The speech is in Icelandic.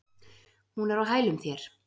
Hún er á hælum þér.